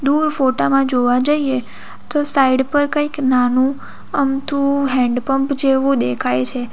દૂર ફોટા માં જોવા જઈએ તો સાઈડ પર કંઈક નાનું અમથું હેન્ડ પંપ જેવું દેખાય છે.